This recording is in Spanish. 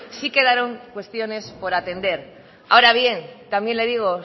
sí quedaron cuestiones por atender ahora bien también le digo